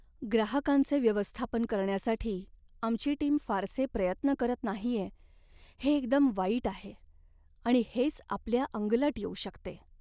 ग्राहकांचे व्यवस्थापन करण्यासाठी आमची टीम फारसे प्रयत्न करत नाहीये हे एकदम वाईट आहे आणि हेच आपल्या अंगलट येऊ शकते.